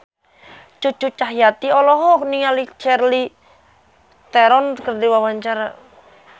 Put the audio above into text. Cucu Cahyati olohok ningali Charlize Theron keur diwawancara